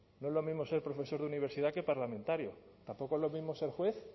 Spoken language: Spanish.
no es lo mismo ser profesor de universidad que parlamentario tampoco es lo mismo ser juez